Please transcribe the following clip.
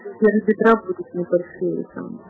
аа